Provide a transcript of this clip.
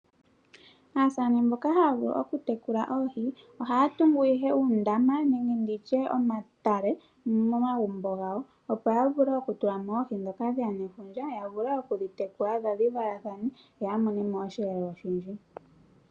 Aasane mboka haya vulu oku tekula oohi ohaya tungu uundama nenge omatale momagumbo gawo opo ya vule okutula mo oohi ndhoka dheya nefundja ya vule okudhitekula dho dhi valathane ye amone mo osheelelwa oshindji.